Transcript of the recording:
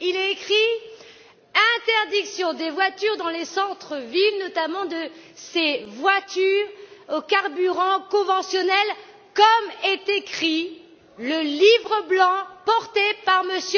Il est écrit interdiction des voitures dans les centres villes, notamment de ces voitures au carburant conventionnel, comme il est écrit dans le livre blanc porté par M.